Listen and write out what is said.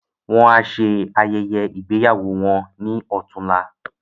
Wọn á ṣe ayẹyẹ ìgbéyàwó wọn ní ọ̀túnla.